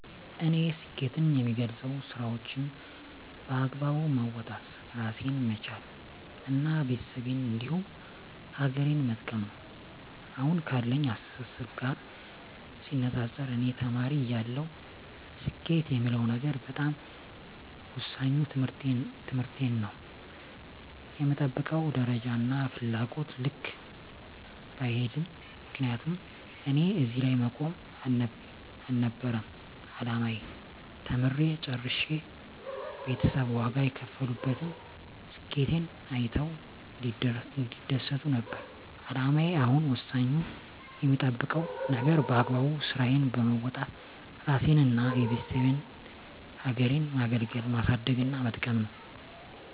እኔ ስኬትን የምገልፀው ስራዎቸን በአግባቡ መወጣት እራሴን መቻል እና ቤተሰቤን እንዲሁም ሀገሬን መጥቀም ነው። አሁን ካለኝ አስተሳሰብ ጋር ሲነፃፀር እኔ ተማሪ እያለሁ ስኬት የምለው ነገር በጣም ወሳኙ ትምህርቴን ነው በምጠብቀው ደረጃና ፍላጎቴ ልክ ባይሄድም ምክንያቱም እኔ እዚህ ላይ መቆም አልነበረም አላማዬ ተምሬ ጨርሸ ቤተሰብ ዋጋ የከፈሉበትን ስኬቴን አይተው እንዲደሰቱ ነበር አላማዬ አሁን ወሳኙ የምጠብቀው ነገር በአግባቡ ስራዬን በወጣት እራሴንና የቤተሰቤን ሀገሬን ማገልገልና ማሳደግና መጥቀም ነው።